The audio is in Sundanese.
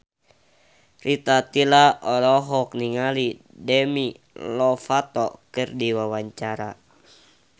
Rita Tila olohok ningali Demi Lovato keur diwawancara